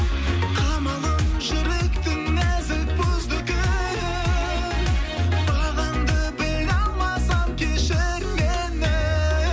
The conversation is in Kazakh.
қамалын жүректің нәзік бұзды кім бағаңды біле алмасам кешір мені